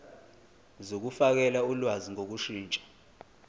zokufakela ulwazi ngokushintsha